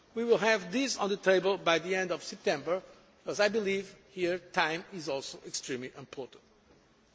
We will have these on the table by the end of September, because I believe time is also extremely important here.